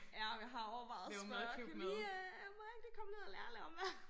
Ja jeg har overvejet at spørge kan du lige øh må jeg ikke lige komme ned og lære at lave mad